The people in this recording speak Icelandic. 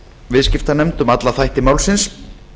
viðskiptanefnd um alla þætti málsins